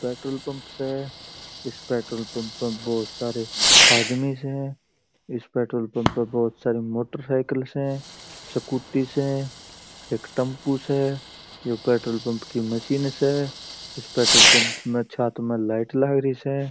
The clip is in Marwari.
पेट्रोल पंप स इस पेट्रोल पंप पर बहुत सारे आदमी स इस पेट्रोल पंप बहुत सारी मोटरसाइकिल स स्कूटी स एक टम्पू स यह पेट्रोल पंप पर मशीन स इस पेट्रोल पंप की छत पर लाइट लागरी स।